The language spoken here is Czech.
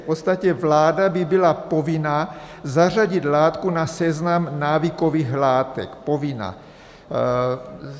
V podstatě vláda by byla povinna zařadit látku na seznam návykových látek, povinna.